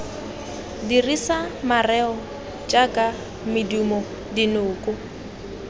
dirisa mareo jaaka medumo dinoko